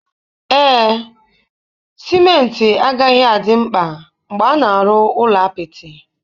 Ee, simenti agaghị adị mkpa mgbe a na-arụ ụlọ apịtị.